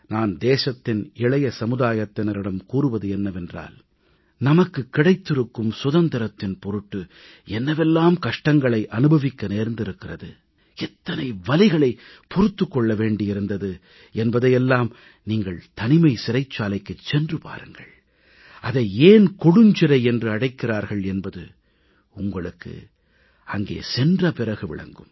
நான் தேசத்தின் இளைய சமுதாயத்தினரிடம் கூறுவது என்னவென்றால் நமக்கு கிடைத்திருக்கும் சுதந்திரத்தின் பொருட்டு என்னவெல்லாம் கஷ்டங்களை அனுபவிக்க நேர்ந்திருக்கிறது எத்தனை வலிகளைப் பொறுத்துக் கொள்ள வேண்டியிருந்தது என்பதையெல்லாம் நீங்கள் தனிமை சிறைச்சாலைக்குச் சென்று பாருங்கள் அதை ஏன் கொடுஞ்சிறை என்று அழைக்கிறார்கள் என்பது உங்களுக்கு அங்கே சென்ற பிறகு விளங்கும்